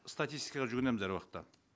статистикаға жүгінеміз әр уақытта